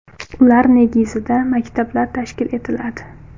Ular negizida maktablar tashkil etiladi.